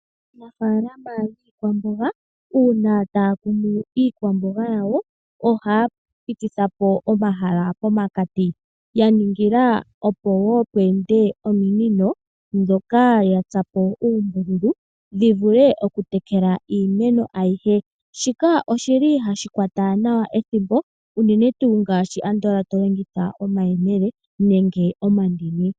Mofalama yiikwamboga una taya kunu iikwamboga yawo ohaya pitithapo omahala pomakati, ya ningila opo wo mpwende ominono dhoka ya tsapo uumbululu dhi vule oku tekela iimeno ayihe. Shika oshili hashi kwata nawa ethimbo unene tu ngashi andola to longitha omayemele nenge omandini.